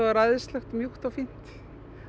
æðislegt mjúkt og fínt